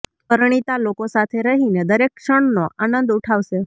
પરણિતા લોકો સાથે રહીને દરેક ક્ષણનો આનંદ ઉઠાવશે